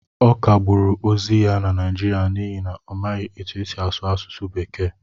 Ọ kagburu ozi ya na Naịjirịa n'ihi na ọ maghị etu esi asụ asụsụ bekee